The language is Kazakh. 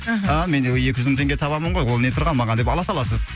мхм а мен де екі жүз мың теңге табамын ғой ол не тұрған маған деп ала саласыз